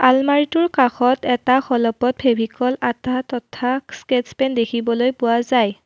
আলমাৰিটোৰ কাষত এটা খলপত ফেভিক'ল আঠা তথা স্কেচ পেন দেখিবলৈ পোৱা যায়।